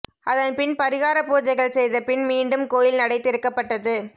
அதன்பின் பரிகாரப் பூஜைகள் செய்த பின் மீண்டும் கோயில் நடை திறக்கப்பட்டது